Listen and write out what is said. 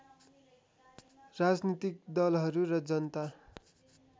राजनीतिक दलहरू र जनता